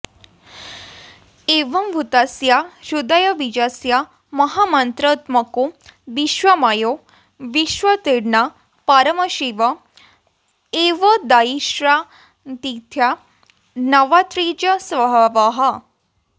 एवम्भूतस्य हृदयबीजस्य महामन्त्रात्मको विश्वमयो विश्वोत्तीर्णः परमशिव एवोदयविश्रान्तिस्थानत्वान्निज स्वभावः